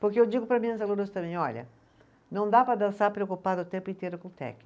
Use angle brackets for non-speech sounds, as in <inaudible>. Porque eu digo para minhas alunas também, olha, não dá para dançar preocupada o tempo inteiro com <unintelligible>